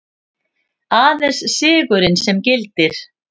Aðeins sigurinn sem gildir.